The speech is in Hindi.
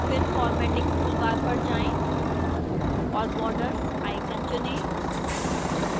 फिर formatting toolbar पर जाएं और borders icon चुनें